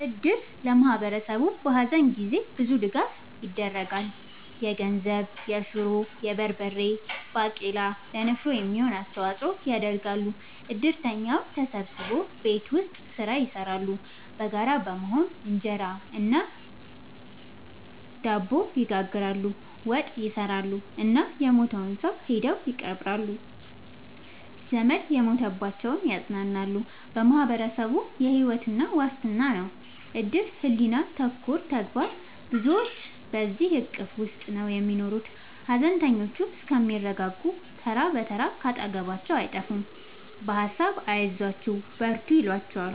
እድር ለማህበረሰቡ በሀዘን ጊዜ ብዙ ድጋፍ ይደረጋል። የገንዘብ፣ የሹሮ፣ የበርበሬ ባቄላ ለንፍሮ የሚሆን አስተዋጽኦ ያደርጋሉ። እድርተኛው ተሰብስቦ ቤት ውስጥ ስራ ይሰራሉ በጋራ በመሆን እንጀራ እና ድብ ይጋግራሉ፣ ወጥ ይሰራሉ እና የሞተውን ሰው ሄደው ይቀብራሉ። ዘመድ የሞተባቸውን ያፅናናሉ በማህበረሰቡ የሕይወት ዋስትና ነው እድር ሕሊና ተኮር ተግባር ብዙዎች በዚሕ እቅፍ ውስጥ ነው የሚኖሩት ሀዘነተኞቹ እስከሚረጋጉ ተራ ብትር ካጠገባቸው አይጠፍም በሀሳብ አይዟችሁ በርቱ ይሏቸዋል።